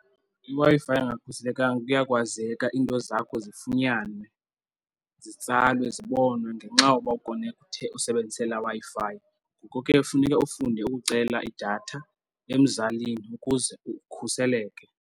IWi-Fi engakhuselekanga kuya kwazeka iinto zakho zifunyanwe zitsalwe, zibonwe ngenxa yoba ukonekthe usebenzise laa Wi-Fi. Ngoko ke funeke ufunde ukucela idatha emzalini ukuze ukhuseleke.